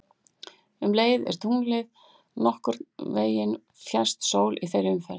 Um leið er tunglið nokkurn veginn fjærst sól í þeirri umferð.